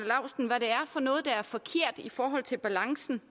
og noget der er forkert i forhold til balancen